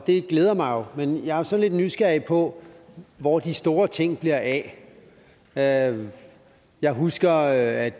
og det glæder mig men jeg er så lidt nysgerrig på hvor de store ting bliver af af jeg husker at